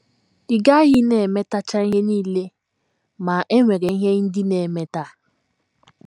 Ị gaghị na - emetacha ihe nile, ma, e nwere ihe ndị ị na - emeta.